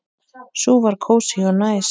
Sú var kósí og næs.